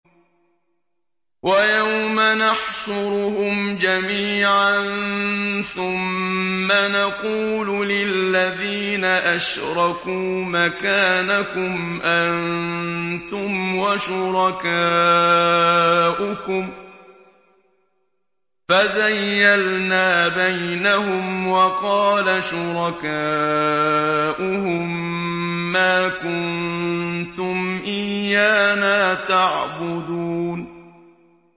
وَيَوْمَ نَحْشُرُهُمْ جَمِيعًا ثُمَّ نَقُولُ لِلَّذِينَ أَشْرَكُوا مَكَانَكُمْ أَنتُمْ وَشُرَكَاؤُكُمْ ۚ فَزَيَّلْنَا بَيْنَهُمْ ۖ وَقَالَ شُرَكَاؤُهُم مَّا كُنتُمْ إِيَّانَا تَعْبُدُونَ